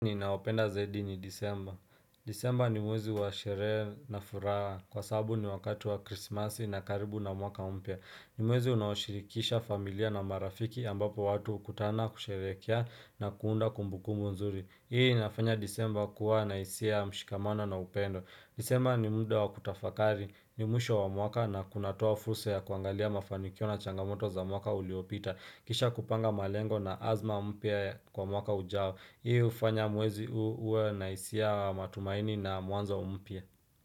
Ninaopenda zaidi ni disemba. Disemba ni mwezi wa shere na furaha kwa sabu ni wakati wa krismasi na karibu na mwaka mpya. Ni mwezi unaoshirikisha familia na marafiki ambapo watu ukutana kusherehekea na kuunda kumbukumbu nzuri. Hii nafanya disemba kuwa na isia mshikamano na upendo. Disemba ni mda wa kutafakari ni mwisho wa mwaka na kunatoa fursa ya kuangalia mafanikio na changamoto za mwaka uliopita. Kisha kupanga malengo na azma mpya kwa mwaka ujao. Hii ufanya mwezi huu uwe na isia matumaini na mwanzo mpya.